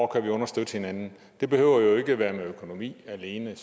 kan understøtte hinanden det behøver jo ikke være med økonomi alene